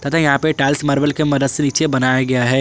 यहां पे tiles marble के मदद से नीचे बनाया गया है।